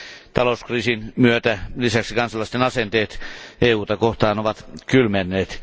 Talouskriisin myötä kansalaisten asenteet EUta kohtaan ovat kylmenneet.